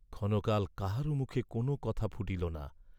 ক্ষণকাল কাহারও মুখে কোন কথা ফুটিল না।